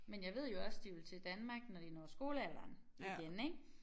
Men jeg ved jo også de vil til Danmark når de når skolealderen igen ik